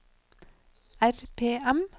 RPM